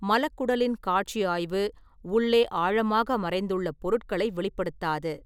மலக்குடலின் காட்சி ஆய்வு, உள்ளே ஆழமாக மறைந்துள்ள பொருட்களை வெளிப்படுத்தாது.